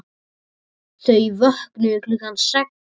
Þau vöknuðu klukkan sex.